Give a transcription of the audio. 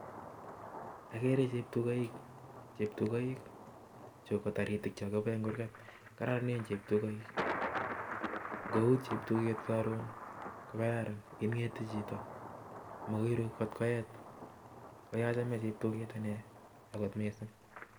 Akere cheptukoik, cheptukoik chu ko taritik chokipoe eng kurgat. Kororonen cheptukoik, nkout cheptuket karon ko kararan, ing'ete chito, makoiru nkot koech, ko achame cheptuket ane kot mising.